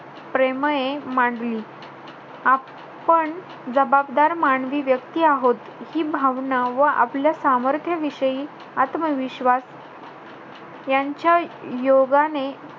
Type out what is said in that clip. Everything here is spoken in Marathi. प्रेमये मांडली. आपण जबाबदार मानवी व्यक्ती आहोत. हि भावना व आपल्या सामर्थ्याविषयी आत्मविश्वास यांच्या योगाने,